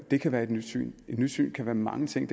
det kan være et nyt syn et nyt syn kan være mange ting